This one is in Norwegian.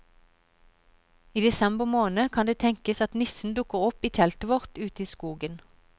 I desember måned kan det tenkes at nissen dukker opp i teltet vårt ute i skogen.